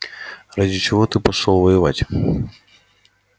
ради чего ты пошёл воевать